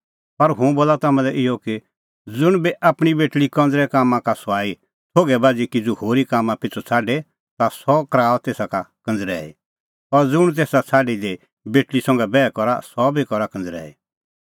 पर हुंह बोला तम्हां लै इहअ कि ज़ुंण बी आपणीं बेटल़ी कंज़रै कामां का सुआई थोघै बाझ़ी किज़ू होरी कामां पिछ़ू छ़ाडे ता सह कराऊआ तेसा का कंज़रैई और ज़ुंण तेसा छ़ाडी दी बेटल़ी संघै बैह करा सह बी करा कंज़रैई